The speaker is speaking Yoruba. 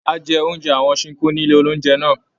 A jẹ oúnjẹ àwọn Ṣinkó ní ilé oúnjẹ náà.